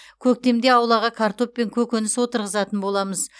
көктемде аулаға картоп пен көкөніс отырғызатын боламыз